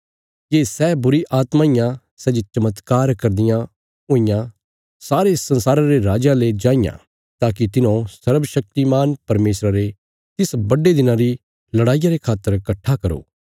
ये सै बुरीआत्मां इयां सै जे चमत्कार करदियां हुईयां सारे संसारा रे राजयां ले जांईयां ताकि तिन्हौं सर्वशक्तिमान परमेशरा रे तिस बड्डे दिना री लड़ाईया रे खातर कट्ठा करो